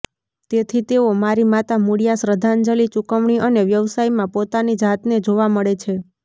તેથી તેઓ મારી માતા મૂળિયા શ્રદ્ધાંજલિ ચૂકવણી અને વ્યવસાયમાં પોતાની જાતને જોવા મળે છે